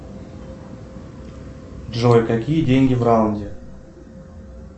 джой какие деньги в раунде